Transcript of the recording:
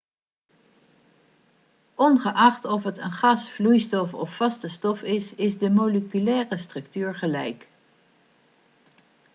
ongeacht of het een gas vloeistof of vaste stof is is de moleculaire structuur gelijk